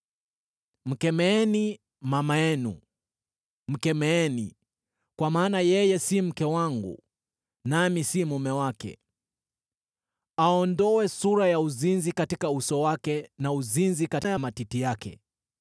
“Mkemeeni mama yenu, mkemeeni, kwa maana yeye si mke wangu, nami si mume wake. Aondoe sura ya uzinzi katika uso wake na uzinzi kati ya matiti yake.